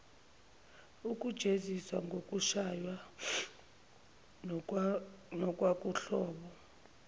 ukujeziswa ngokushaywa nokwakuwuhlobo